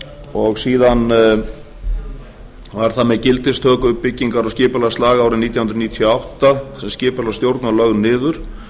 og síðan var það með gildistöku byggingar og skipulagslaga árið nítján hundruð níutíu og átta þar sem skipulagsstjórn var lögð niður